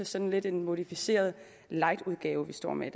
sådan lidt en modificeret lightudgave vi står med i